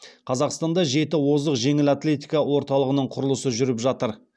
қазақстанда жеті озық жеңіл атлетика орталығының құрылысы жүріп жатыр